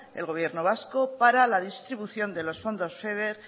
el gobierno vasco para la distribución de los fondos feader